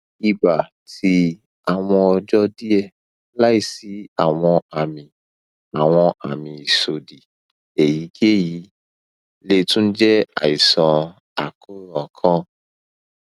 iba ti awọn ọjọ diẹ laisi awọn ami awọn ami isọdi eyikeyi le tun jẹ aisan akoran kan